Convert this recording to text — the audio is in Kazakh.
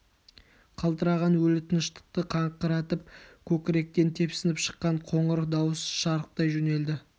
қалтыраған өлі тыныштықты қақыратып көкіректен тепсініп шыққан қуатты қоңыр дауыс шарықтай жөнелді